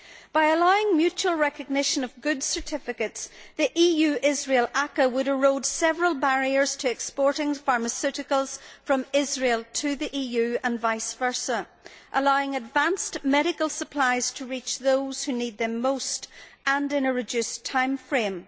By allowing mutual recognition of goods certificates, the EU Israel ACAA would erode several barriers to exporting pharmaceuticals from Israel to the EU and vice versa, allowing advanced medical supplies to reach those who need them most, in a reduced timeframe.